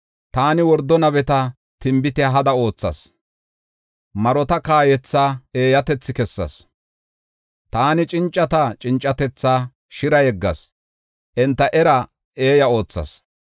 Taani wordo nabeta tinbitiya hada oothas; marota kaayowa eeyatethi kessas. Taani cincata cincatethaa shira yeggas; enta eraa eeya oothas.